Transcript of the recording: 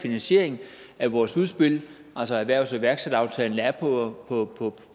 finansiering af vores udspil altså erhvervs og iværksætteraftalen er på